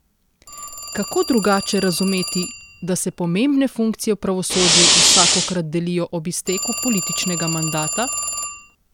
Kako drugače razumeti, da se pomembne funkcije v pravosodju vsakokrat delijo ob izteku političnega mandata?